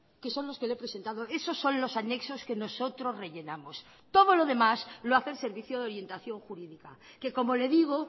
que son los que le he presentado esos son los anexos que nosotros rellenamos todo lo demás lo hace el servicio de orientación jurídica que como le digo